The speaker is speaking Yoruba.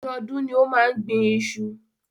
Ọdọọdún ni ó máa ń gbin iṣu.